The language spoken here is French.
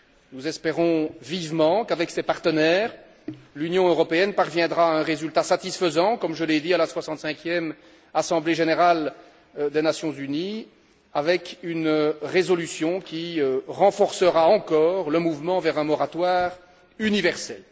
Nous espérons vivement qu'avec ses partenaires, l'Union européenne parviendra à un résultat satisfaisant, comme je l'ai dit, à la soixante cinquième Assemblée générale des Nations unies, avec une résolution qui renforcera encore le mouvement vers un moratoire universel.